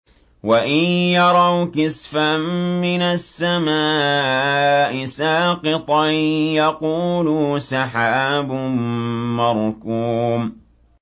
وَإِن يَرَوْا كِسْفًا مِّنَ السَّمَاءِ سَاقِطًا يَقُولُوا سَحَابٌ مَّرْكُومٌ